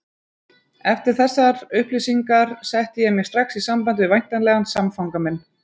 Eftir þessar upplýsingar setti ég mig strax í samband við væntanlegan samfanga minn.